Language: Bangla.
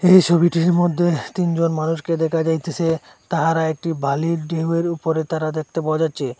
এই ছবিটির মধ্যে তিনজন মানুষকে দেকা যাইতেছে তাহারা একটি বালির ঢেউয়ের উপরে তারা দেকতে পাওয়া যাচ্চে।